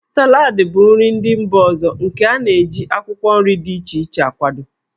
Salad bụ nri mba ọzọ nke a na-eji akwụkwọ nri dị iche iche akwado.